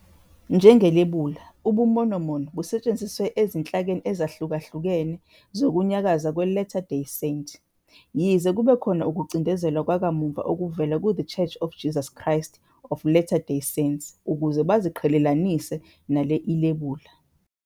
Njengelebula, ubuMormon busetshenzisiwe ezinhlakeni ezahlukahlukene zokunyakaza kweLatter Day Saint, yize kube khona ukucindezelwa kwakamuva okuvela kuThe Church of Jesus Christ of Latter-day Saints ukuze baziqhelelanise nale ilebula.